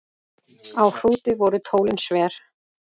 Á Hrúti voru tólin sver.